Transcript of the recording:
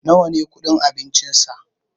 nawa ne kudin abincinsa?